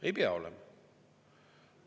Ei pea olema.